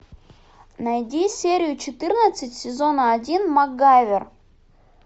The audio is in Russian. найди серию четырнадцать сезона один макгайвер